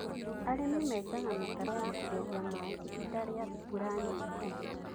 arĩmĩ menjanga mĩtaro ya kũgeria maaĩ ihinda ria mbura nyingĩ